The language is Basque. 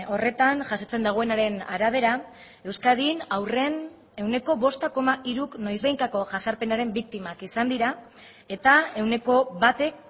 horretan jasotzen duenaren arabera euskadin haurren ehuneko bost koma hiruk noizbehinkako jazarpenaren biktimak izan dira eta ehuneko batek